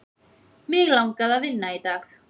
Mig langaði að vinna í dag.